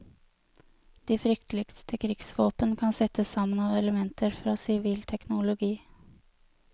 De frykteligste krigsvåpen kan settes sammen av elementer fra sivil teknologi.